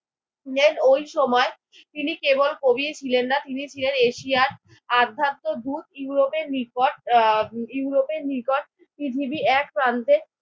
নেন ওই সময় তিনি কেবল কবিই ছিলেন না, তিনি ছিলেন এশিয়ার আধ্যাত্ম দূত ইউরোপের নিকট। আহ ইউরোপের নিকট পৃথিবীর এক প্রান্তে